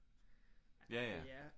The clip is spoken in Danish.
Ja ja